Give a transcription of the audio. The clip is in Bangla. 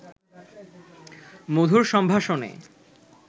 মধুর সম্ভাষণে